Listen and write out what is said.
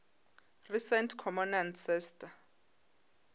recent common ancestor